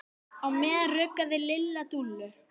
Á meðan ruggaði Lilla Dúllu.